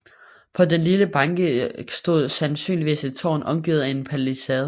På den lille banke stod sandsynligvis et tårn omgivet af en palisade